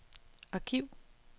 arkiv